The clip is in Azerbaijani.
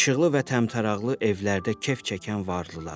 İşıqlı və təmtəraqlı evlərdə kef çəkən varlıları.